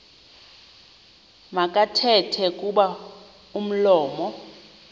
makathethe kuba umlomo